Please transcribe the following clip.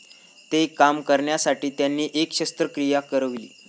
ते कमी करण्यासाठी त्यांनी एक शस्त्रक्रिया करविली.